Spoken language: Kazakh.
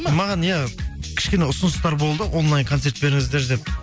маған иә кішкене ұсыныстар болды онлайн концерт беріңіздер деп